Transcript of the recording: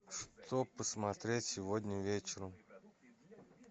что посмотреть сегодня вечером